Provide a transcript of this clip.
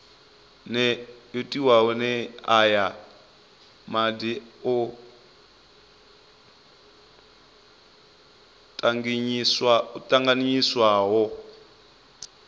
nee aya madi o tanganyiswaho